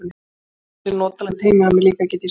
Það er ansi notalegt heima hjá mér líka, get ég sagt þér.